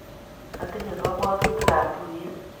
atinye kabwotutikab tuye